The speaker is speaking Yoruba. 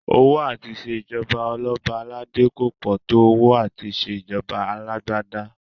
Owó à ti ṣe ìjọba ọlọ́ba aládé kò pọ̀ tó owó àti ṣe ìjọba alágbádá